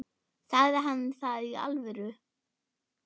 Sagði hann það í alvöru?